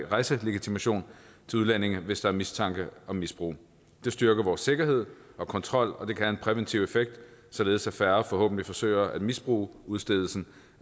rejselegitimation til udlændinge hvis der er mistanke om misbrug det styrker vores sikkerhed og kontrol og det kan have en præventiv effekt således at færre forhåbentlig forsøger at misbruge udstedelsen